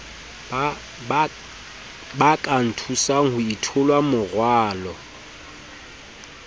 ba ka nthusang ho itholamorwalo